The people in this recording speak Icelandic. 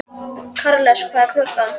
Karles, hvað er klukkan?